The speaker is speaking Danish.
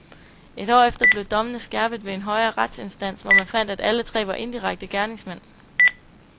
Et år efter blev dommene skærpet ved en højere retsinstans, hvor man fandt, at alle tre var indirekte gerningsmænd.